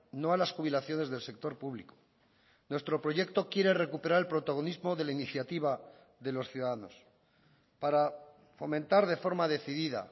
no a las jubilaciones del sector público nuestro proyecto quiere recuperar el protagonismo de la iniciativa de los ciudadanos para fomentar de forma decidida